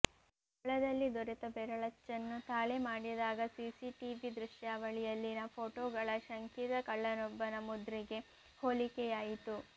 ಸ್ಥಳದಲ್ಲಿ ದೊರೆತ ಬೆರಳಚ್ಚನ್ನು ತಾಳೆ ಮಾಡಿದಾಗ ಸಿಸಿಟಿವಿ ದೃಶ್ಯಾವಳಿಯಲ್ಲಿನ ಫೋಟೋಗಳ ಶಂಕಿತ ಕಳ್ಳನೊಬ್ಬನ ಮುದ್ರೆಗೆ ಹೋಲಿಕೆಯಾಯಿತು